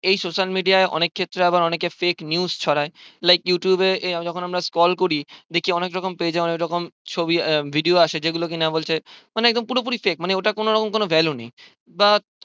এই social media অনেক ক্ষেত্রে আবার অনেকে fake news ছড়ায় like you tube এ যখন আমরা scroll করি দেখি অনেক রকম page এ অনেক রকম ছবি video আসে যেগুলো কি না বলছে মানে পুরোপুরি fake মানে ওটা কোনো রকম কোনো value নেই বা